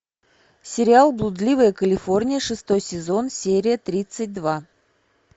сериал блудливая калифорния шестой сезон серия тридцать два